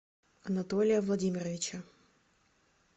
анатолия владимировича